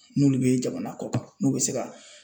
N'olu bɛ jamana kɔ kan, n'u bɛ se ka